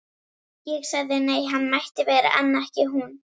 Ég sagði nei, hann mætti vera en ekki hún.